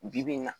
Bi bi in na